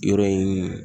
Yɔrɔ in